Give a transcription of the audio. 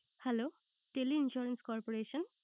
Hello tele insurance corporation